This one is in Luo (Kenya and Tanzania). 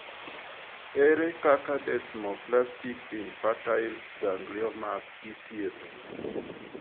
Ere kaka desmoplastic infantile gangliomas ithiedho?